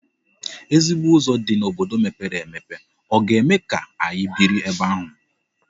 Ezigbo ụzọ dị n'obodo mepere emepe ọ ga-eme ka anyị biri ebe ahụ?